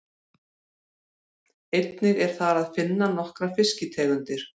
Einnig er þar að finna nokkrar fiskitegundir.